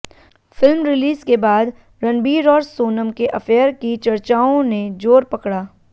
film release के बाद रणबीर और सोनम के अफेयर की चर्चाओं ने जोर पकड़ा